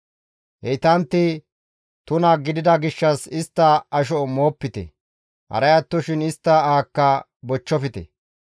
Heytantti tuna gidida gishshas istta asho moopite; haray attoshin istta ahakka bochchofte.